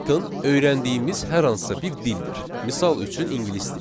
Python öyrəndiyimiz hər hansısa bir dildir, misal üçün ingilis dili.